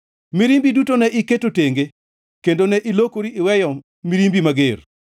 Mirimbi duto ne iketo tenge, kendo ne ilokori iweyo mirimbi mager.